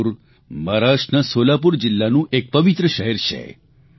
પંઢરપુર મહારાષ્ટ્રના સોલાપુર જીલ્લાનું એક પવિત્ર શહેર છે